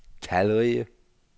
talrige